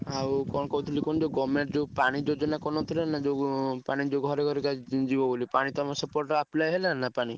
ଆଉ କଣ କହୁଥିଲି କୁହନି government ଯୋଉ ପାଣି ଯୋଜନା କରିନଥିଲେ ନାଁ ଯୋଉପାଣି ଟା ଘରେ ଘରେ ଯିବ ପାଣି ତମ ସେପଟରେ apply ହେଲାନି ନାଁ ପାଣି